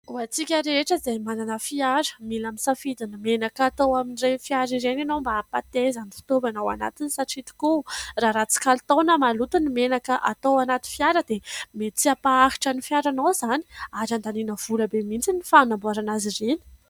Ho antsika rehetra izay manana fiara, mila misafidy ny menaka atao amin'ireny fiara ireny ianao mba hampateza ny fitaovana ao anatiny. Satria tokoa raha ratsy kalitao na maloto ny menaka atao anaty fiara, dia mety tsy hampaharitra ny fiaranao izany ary andaniana vola be mihitsy ny fanamboarana azy ireny.